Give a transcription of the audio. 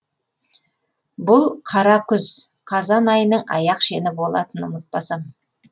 бұл қара күз қазан айының аяқ шені болатын ұмытпасам